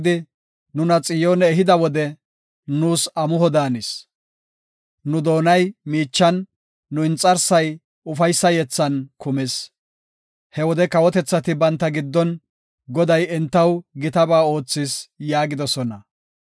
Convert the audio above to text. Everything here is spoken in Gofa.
Nu doonay miichan, nu inxarsay ufaysa yethan kumis. He wode kawotethati banta giddon, “Goday entaw gitaba oothis” yaagidosona.